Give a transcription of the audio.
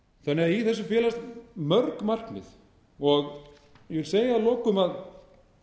þessu felast mörg markmið og ég vil segja að lokum